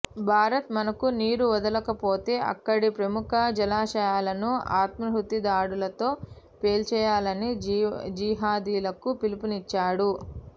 భారత్ మనకు నీరు వదలకపోతే అక్కడి ప్రముఖ జలాశయాలను ఆత్మాహుతి దాడులతో పేల్చేయాలని జీహాదీలకు పిలుపునిచ్చాడు